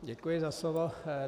Děkuji za slovo.